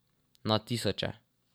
Na tisoče.